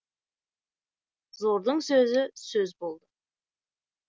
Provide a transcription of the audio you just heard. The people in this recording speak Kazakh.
зордың сөзі сөз болды